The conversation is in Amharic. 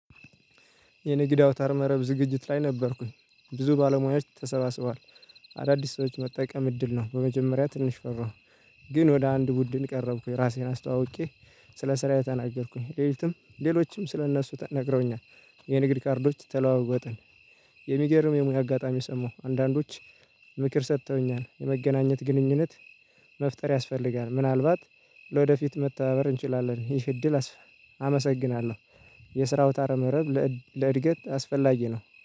የንግድ አውታር መረብ ዝግጅት ላይ ነበርኩኝ ብዙ ባለሙያዎች ተሰባስበዋል። አዳዲስ ሰዎች መጠቀም እድል ነው በመጀመሪያ ትንሽ ፈራሁ። ግን ወደ አንድ ቡድን ቀረብኩኝ ራሴን አስተዋውቄ ስለ ስራዬ ተናገርኩኝ። ሌሊቱም ሌሎችም ስለእነሱ ተ ነግረውኛል። የንግድ ካርዶች ተለዋወጥን። የሚገርም የሙያ አጋጣሚ ሰማሁ አንዳንዶች ምክር ሰጥተውኛል። የመገናኘት ግንኙነት መፍጠር ያስፈልጋል። ምናልባት ለወደፊት መተታበር እንችላለን ይህ እድል አሰፈ አመሰግናለሁ። የስራው አውታረ መረብ ለእድገት አስፈላጊ ነው